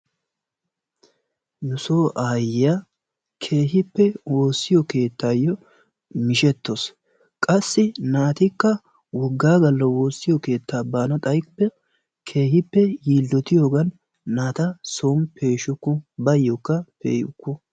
Nu soo aayyiya keehippe wossiyo keettayo mishshetawusu. Qassi naatikka woggaa galla woossiyo keettaa baana xaykko keehippe yilotiyoogan naata soon peeshshuku, baayyokka pe'ukku.